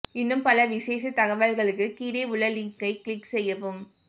இன்னும் பல விசேஷத் தகவல்களுக்கு கீழே உள்ள லிங்கை க்ளிக் செய்யவும்